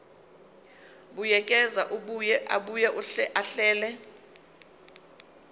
buyekeza abuye ahlele